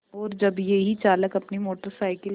और जब यही चालक अपनी मोटर साइकिल